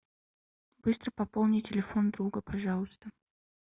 быстро пополни телефон друга пожалуйста